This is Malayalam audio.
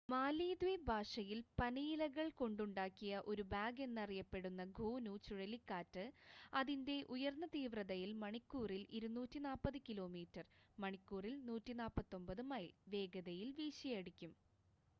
മാലിദ്വീപ് ഭാഷയിൽ പനയിലകൾ കൊണ്ടുണ്ടാക്കിയ ഒരു ബാഗ് എന്ന് അറിയപ്പെടുന്ന 'ഗോനു' ചുഴലിക്കാറ്റ് അതിന്റെ ഉയർന്ന തീവ്രതയിൽ മണിക്കൂറിൽ 240 കിലോമീറ്റർ മണിക്കൂറിൽ 149 മൈൽ വേഗതയിൽ വീശിയടിക്കും